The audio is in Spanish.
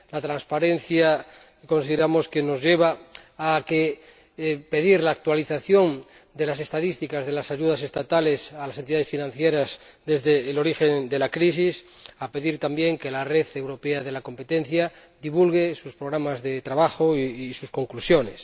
La transparencia nos lleva a pedir la actualización de las estadísticas de las ayudas estatales a las entidades financieras desde el origen de la crisis y a pedir, también, que la Red Europea de la Competencia divulgue sus programas de trabajo y sus conclusiones.